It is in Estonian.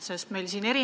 Kas see olete teie?